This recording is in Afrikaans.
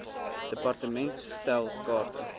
department stel kaarte